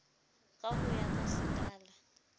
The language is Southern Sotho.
ka ho ya ka sekala